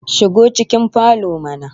Shigo cikin falo mana